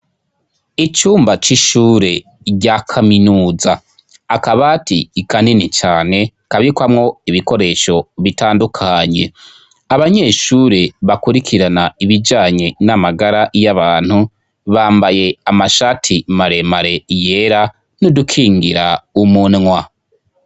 Icumba c'ishure rya kaminuza akabaati kanini cane kabikwamwo ibikoresho bitandukanye abanyeshure bakurikirana ibijanye n'amagara y'abantu bambaye amashati maremare yera n'udukingira umunwa.